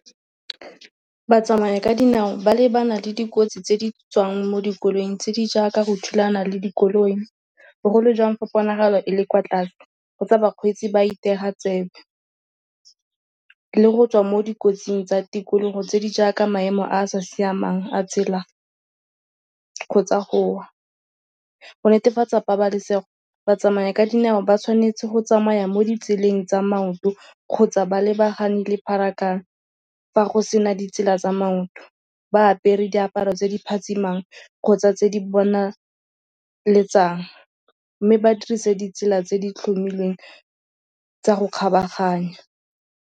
Batsamaya ka dinao ba lebana le dikotsi tse di tswang mo dikoloing tse di jaaka go thulana le dikoloi. Bogolo jang fa ponagalo e le kwa tlase kgotsa bakgweetsi ba itewa tsebe. Le go tswa mo dikotsing tsa tikologo tse di jaaka maemo a a sa siamang a tsela kgotsa go netefatsa pabalesego, batsamaya ka dinao ba tshwanetse go tsamaya mo ditseleng tsa maoto kgotsa ba lebagane le pharakano fa go sena ditsela tsa maoto. Ba apere diaparo tse di phatsimang kgotsa tse di bonaletsang mme ba dirise ditsela tse di tlhomilweng tsa go kgabaganya.